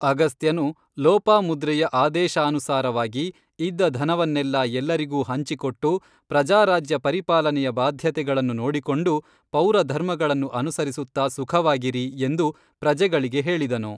ಅಗಸ್ತ್ಯನು ಲೋಪಾಮುದ್ರೆಯ ಆದೇಶಾನುಸಾರವಾಗಿ ಇದ್ದ ಧನವನ್ನೆಲ್ಲಾ ಎಲ್ಲರಿಗೂ ಹಂಚಿಕೊಟ್ಟು ಪ್ರಜಾರಾಜ್ಯ ಪರಿಪಾಲನೆಯ ಬಾಧ್ಯತೆಗಳನ್ನು ನೋಡಿಕೊಂಡು ಪೌರಧರ್ಮಗಳನ್ನು ಅನುಸರಿಸುತ್ತಾ ಸುಖವಾಗಿರಿ, ಎಂದು ಪ್ರಜೆಗಳಿಗೆ ಹೇಳಿದನು